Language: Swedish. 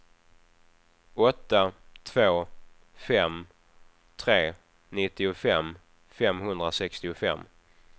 åtta två fem tre nittiofem femhundrasextiofem